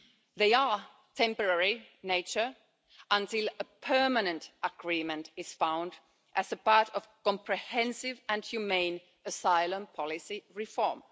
They are temporary in nature until a permanent agreement is found as part of a comprehensive and humane asylum-policy reform.